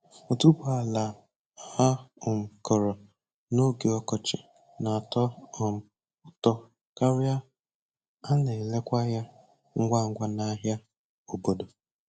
Otuboala a um kụrụ n'oge ọkọchị na-atọ um ụtọ karịa a na-erekwa ya ngwa ngwa n'ahịa obodo.